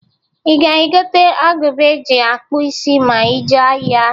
I ga-egota agụba e ji akpụ isi ma i jee ahịa?